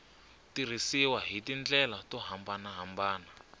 tirhisiwa hi tindlela to hambanahambana